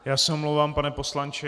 Já se omlouvám, pane poslanče.